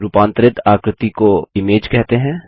रूपांतरित आकृति image image को कहते हैं